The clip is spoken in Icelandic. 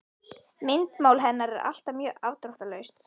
Myndmál hennar er alltaf mjög afdráttarlaust.